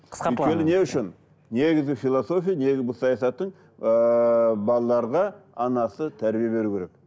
өйткені не үшін негізі философия негізі бұл саясаттың ыыы балаларға анасы тәрбие беру керек